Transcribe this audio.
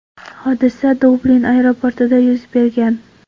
Hodisa Dublin aeroportida yuz bergan.